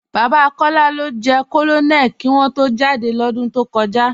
Baba Kọla ló jẹ̀ Kọnónélì kí wọ̀n tó jádẹ́ lódún tó kọja.